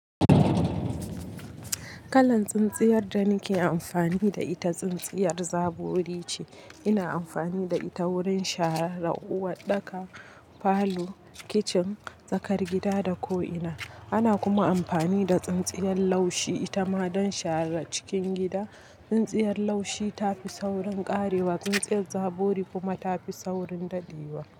Kalan tsintsiyar da nake amfani da ita, tsintsiyar zabori ce. Ina amfani da ita wurin share uwa, ɗaka falo, kicin, tsakar gida da ko'ina. Ana kuma amfani da tsintsiyar laushi ita ma don share cikin gida. Tsintsiyar laushi ta fi saurin ƙarewa, tsintsiyar zabori kuma ta fi saurin dadewa.